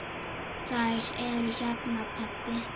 Þær eru hérna, pabbi.